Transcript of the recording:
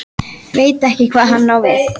Veit ekki hvað hann á við.